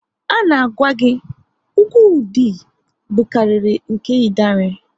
A na gwa gị, ugwu Ụdị bukariri nke Idanre